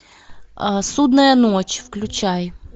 судная ночь включай